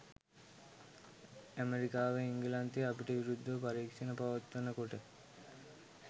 ඇමෙරිකාව එංගලන්තය අපිට විරුද්ධව පරීක්ෂණ පවත්වනකොට